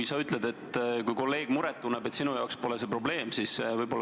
Sa ütled, et kui kolleeg muret tunneb, siis sinu jaoks pole see probleem.